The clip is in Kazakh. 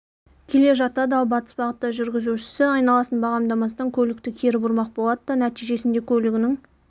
келе жатады ал батыс бағытта жүргізушісі айналасын бағамдамастан көлікті кері бұрмақ болады да нәтижесінде көлігінің